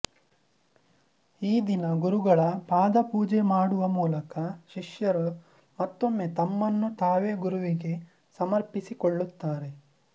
ಈ ದಿನ ಗುರುಗಳ ಪಾದಪೂಜೆ ಮಾಡುವ ಮೂಲಕ ಶಿಶ್ಯರು ಮತ್ತೊಮ್ಮೆ ತಮ್ಮನ್ನು ತಾವೇ ಗುರುವಿಗೆ ಸಮರ್ಪಿಸಿಕೊಳ್ಳುತ್ತಾರೆ